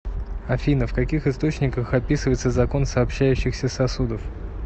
афина в каких источниках описывается закон сообщающихся сосудов